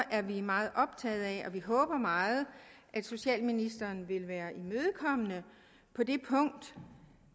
er vi meget optagede af og håber meget at socialministeren vil være imødekommende på det punkt